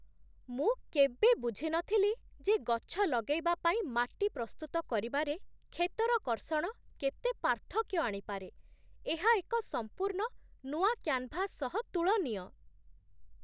ମୁଁ କେବେ ବୁଝିନଥିଲି ଯେ ଗଛ ଲଗେଇବା ପାଇଁ ମାଟି ପ୍ରସ୍ତୁତ କରିବାରେ କ୍ଷେତର କର୍ଷଣ କେତେ ପାର୍ଥକ୍ୟ ଆଣିପାରେ। ଏହା ଏକ ସମ୍ପୂର୍ଣ୍ଣ ନୂଆ କ୍ୟାନଭାସ ସହ ତୁଳନୀୟ!